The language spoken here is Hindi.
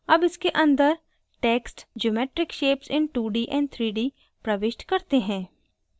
अब इसके अंदर text geometric shapes in 2d and 3d प्रविष्ट करते हैं